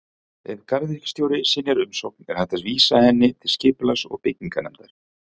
Ef garðyrkjustjóri synjar umsókn er hægt að vísa erindi til Skipulags- og bygginganefndar.